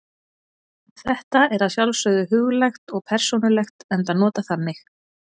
Þetta er að sjálfsögðu huglægt og persónulegt enda notað þannig.